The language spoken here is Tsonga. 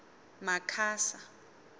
makhasa